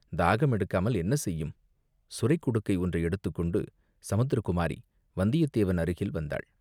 தாகமெடுக்காமல் என்ன செய்யும்?" சுரைக் குடுக்கை ஒன்றை எடுத்துக் கொண்டு சமுத்திரகுமாரி வந்தியத்தேவன் அருகில் வந்தாள்.